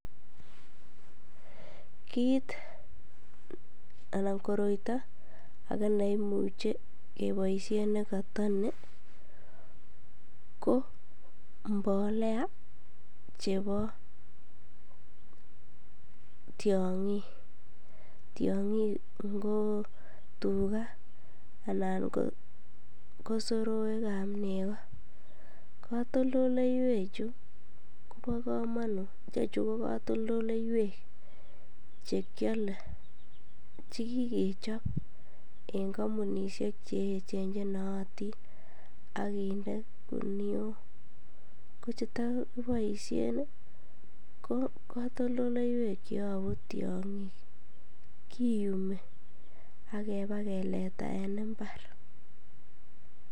Kiit anan koroito akee neimuche keboishen nekotoninko mbolea chebo tiong'ik, tiong'ik ng'o tukaa anan ko soroekab nekoo, kotoldoleiwe chuu kobokomonut ichechu ko kotoldoleiwek chekiole chekikechob en kombunishek cheechen chenoyotin ak kinde kinuok, kocheto kiboishen ko kotoldoleiwek cheyobu tiong'ik kiyumi ak ibakeleta en imbar.